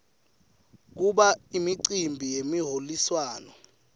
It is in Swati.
kuba imicimbi yemiholiswano